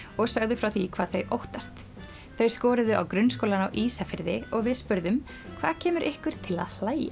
og sögðu frá því hvað þau óttast þau skoruðu á Grunnskólann á Ísafirði og við spurðum hvað kemur ykkur til að hlæja